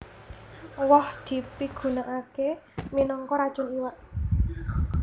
Woh dipigunakaké minangka racun iwak